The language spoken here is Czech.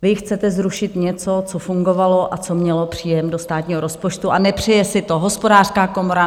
Vy chcete zrušit něco, co fungovalo a co mělo příjem do státního rozpočtu, a nepřeje si to Hospodářská komora.